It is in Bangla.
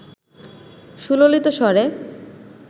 সুললিত স্বরে